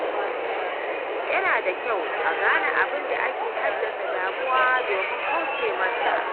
Yana da kyau a gane abin da ke haddasa damuwa domin kauce masa.